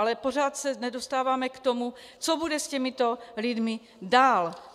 Ale pořád se nedostáváme k tomu, co bude s těmito lidmi dál.